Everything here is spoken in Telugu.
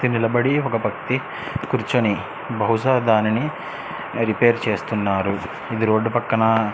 నిలబడి ఒక వ్యక్తి కురుచొని బహుశ దాని రిపేర్ చేస్తునాడు రోడ్ పక్కన .